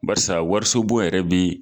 Barisa warisobon yɛrɛ bi